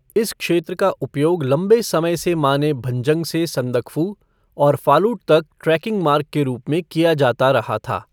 इस क्षेत्र का उपयोग लंबे समय से माने भंजंग से संदकफू और फालूट तक ट्रैकिंग मार्ग के रूप में किया जाता रहा था।